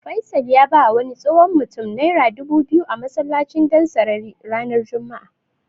Faisal ya bawa wani tsohon mutum Naira dubu biyu a masallacin Dansarari ranar Juma'a.